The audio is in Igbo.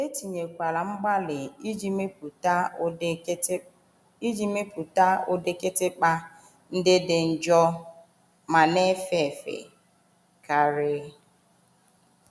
E tinyekwara mgbalị iji mepụta ụdị kịtịkpa ndị dị njọ ma na - efe efe karị.